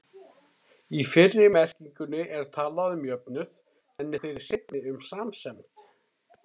Í fyrri merkingunni er talað um jöfnuð, en í þeirri seinni um samsemd.